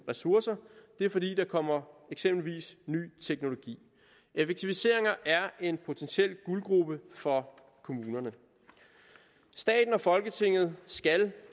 ressourcerne og det er fordi der eksempelvis kommer ny teknologi effektiviseringer er en potentiel guldgrube for kommunerne staten og folketinget skal